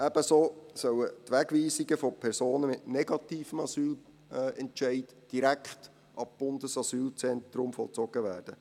Ebenso soll die Wegweisung von Personen mit negativem Asylentscheid direkt ab Bundesasylzentrum vollzogen werden.